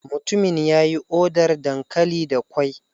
Mutumin ya yi odar dankali da ƙwai.